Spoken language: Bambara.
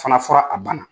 Fana fɔra a bana